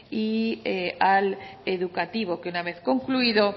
y al educativo que una vez concluido